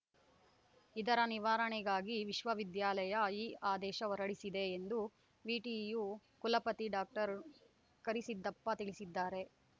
ಇದರ ನಿವಾರಣೆಗಾಗಿ ವಿಶ್ವವಿದ್ಯಾಲಯ ಈ ಆದೇಶ ಹೊರಡಿಸಿದೆ ಎಂದು ವಿಟಿಯು ಕುಲಪತಿ ಡಾಕ್ಟರ್ ಕರಿಸಿದ್ದಪ್ಪ ತಿಳಿಸಿದ್ದಾರೆ